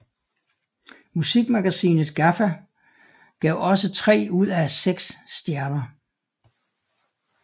Musikmagasinet GAFFA gav også tre ud af seks stjerner